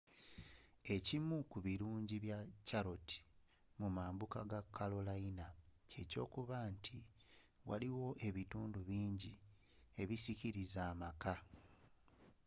ekimu ku bilungi bya charlotte mumambuka ga carolina kye kyokuba nti waliwo ebintu bingi ebisikiliza amaka